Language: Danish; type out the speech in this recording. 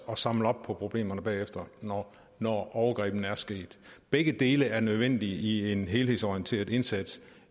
og samler op på problemerne bagefter når når overgrebene er sket begge dele er nødvendige i en helhedsorienteret indsats